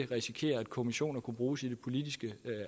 risikere at kommissioner kunne bruges i det politiske